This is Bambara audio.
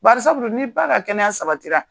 Bari sabu dun ni ba ka kɛnɛya sabatira